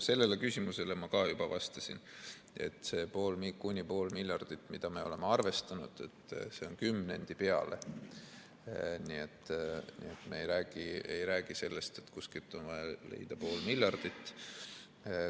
Sellele küsimusele ma ka juba vastasin, et see kuni pool miljardit, mida me oleme arvestanud, on kümnendi peale, nii et me ei räägi sellest, et kuskilt on vaja leida pool miljardit.